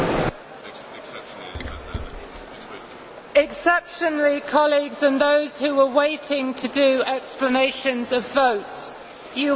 Exceptionally, colleagues, and those who are waiting to give explanations of vote, you will appreciate that it is now very late.